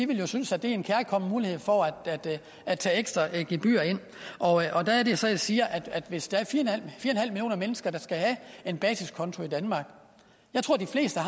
vil synes at det er en kærkommen mulighed for at tage ekstra gebyrer ind og der er det så jeg siger at hvis der er fire millioner mennesker der skal have en basiskonto i danmark jeg tror de fleste